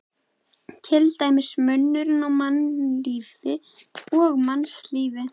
Til dæmis munurinn á mannlífi og mannslífi.